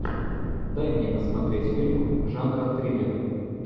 дай мне посмотреть фильм жанра триллер